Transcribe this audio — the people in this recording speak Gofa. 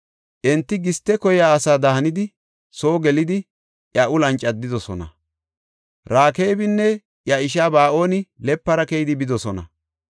Enti giste koyiya asada hanidi soo gelidi, iya uluwan caddidosona. Rekaabinne iya ishaa Ba7aani lepara keydi bidosona.